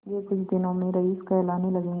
यह कुछ दिनों में रईस कहलाने लगेंगे